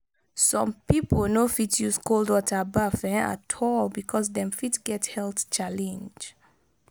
some pipo no fit use cold water baff um at all because dem fit get health challenge